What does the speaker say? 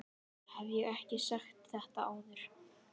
Hef ég ekki sagt þetta áður?